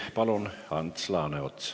Palun, Ants Laaneots!